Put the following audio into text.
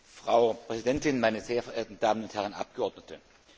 Frau Präsidentin, meine sehr verehrten Damen und Herren Abgeordnete!